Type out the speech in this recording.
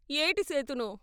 ఏటి సేతును.